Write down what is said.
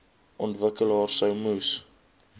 ontwikkelaars sou moes